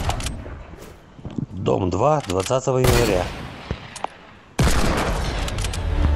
дом два двадцатого января